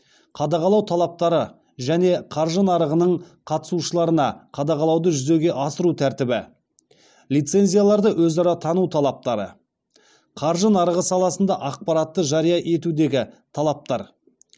қадағалау талаптары және қаржы нарығының қатысушыларына қадағалауды жүзеге асыру тәртібі лицензияларды өзара тану талаптары қаржы нарығы саласында ақпаратты жария етудегі талаптар